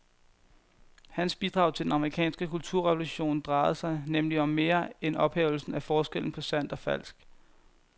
Hans bidrag til den amerikanske kulturrevolution drejede sig nemlig om mere end ophævelsen af forskellen på sandt og falsk.